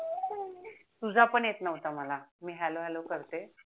तुझा पण येत नव्हता मला मी हॅलो हॅलो करते